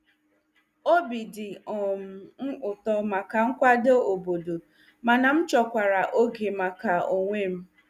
Obi dị um m ụtọ maka nkwado obodo, mana m chọkwara oge maka onwe m.